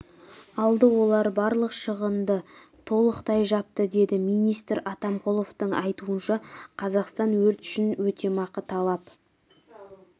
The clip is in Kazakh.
алды олар барлық шығынды толықтай жапты деді министр атамқұловтың айтуынша қазақстан өрт үшін өтемақы талап